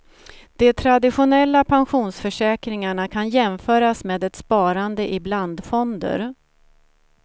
De traditionella pensionsförsäkringarna kan jämföras med ett sparande i blandfonder.